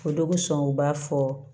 O dɔ bɛ sɔn o b'a fɔ